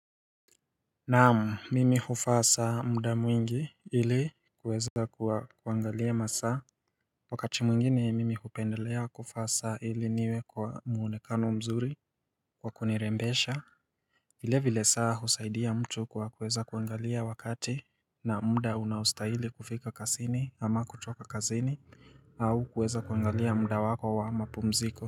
Naam mimi huvaa saa muda mwingi ili kuweza kuangalia masaa Wakati mwingine mimi hupendelea kuvaa saa ili niwe kwa mwonekano mzuri kwa kunirembesha vile vile saa husaidia mtu kwa kuweza kuangalia wakati na muda unaostahili kufika kazini ama kutoka kazini au kuweza kuangalia muda wako wa mapumziko.